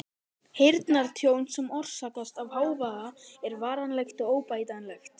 Heyrnartjón sem orsakast af hávaða er varanlegt og óbætanlegt.